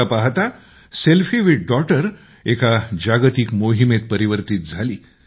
पहाता पहाता selfie with daughter एका जागतिक मोहीमेत परिवर्तित झाली